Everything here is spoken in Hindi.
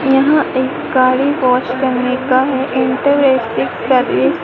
यहां एक गाड़ी वॉश करने का है सर्विस ।